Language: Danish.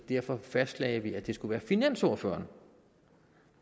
derfor fastlagde at det skulle være finansordføreren